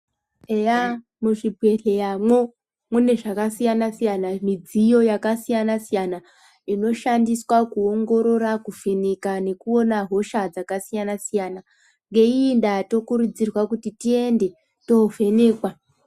Eya, muzvibhedhleyamwo, mune zvakasiyana-siyana, midziyo yakasiyana-siyana inoshandiswa kuongorora kuvheneka nekuona hosha dzakasiyana-siyana, ngeyiyi ndaa tokurudzirwa kuti tiende tovhenekwa.